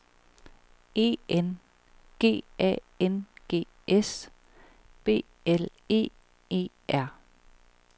E N G A N G S B L E E R